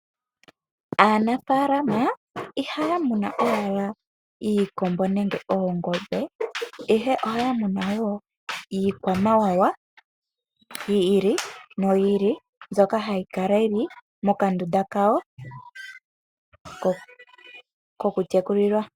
Aanafaalama iha ya muna owala iikombo nenge oongombe, ihe oha ya muna wo iikwamawawa yi ili no yi ili mbyoka ha yi kala yi li moka ndunda ka yo ko ku tekulilwa.